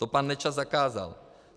To pan Nečas zakázal.